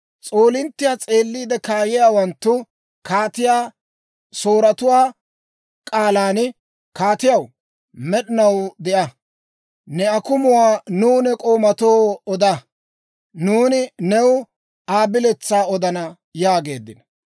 S'oolinttiyaa s'eeliide kaayiyaawanttu kaatiyaa Sooratuwaa k'aalan, «Kaatiyaw, med'inaw de'a! Ne akumuwaa nuw ne k'oomatoo oda; nuuni new Aa biletsaa odana» yaageeddino.